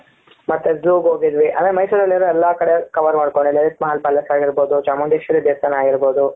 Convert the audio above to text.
ಮತ್ತೆ zoo ಗೆ ಹೋಗಿದ್ವಿ ಅದೇ ಮೈಸೂರಲ್ಲಿರೋ ಎಲ್ಲಾ ಕಡೆ cover ಮಾಡಿ ಕೊಂಡಿದ್ದೇವೆ small ಪ್ಯಾಲೇಸ್ ಆಗಿರಬಹುದು ಚಾಮುಂಡೇಶ್ವರಿ ದೇವಸ್ಥಾನ ಆಗಿರಬಹುದು.